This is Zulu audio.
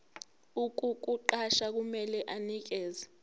ukukuqasha kumele anikeze